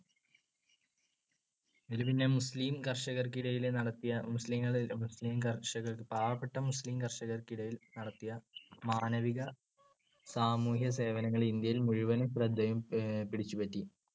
ഇതിൽ പിന്നെ മുസ്ലീം കർഷകർക്കിടയിൽ നടത്തിയ മുസ്ലീങ്ങള് മുസ്ലിം കര്‍ഷക~ പാവപ്പെട്ട മുസ്ലീം കർഷകർക്കിടയിൽ നടത്തിയ മാനവിക സാമൂഹ്യസേവനങ്ങൾ ഇന്ത്യയിൽ മുഴവനും ശ്രദ്ധയും പിടിച്ചുപറ്റി.